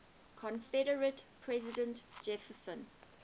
confederate president jefferson